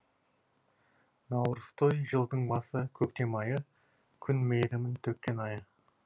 наурызтой жылдың басы көктем айы күн мейірімін төккен айы